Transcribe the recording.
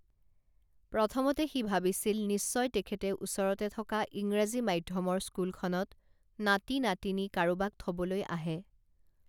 প্ৰথমতে সি ভাবিছিল নিশ্চয় তেখেতে ওচৰতে থকা ইংৰাজী মাধ্যমৰ স্কুলখনত নাতি নাতিনী কাৰোবাক থবলৈ আহে